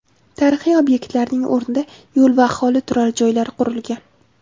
Tarixiy obyektlarning o‘rnida yo‘l va aholi turar joylari qurilgan.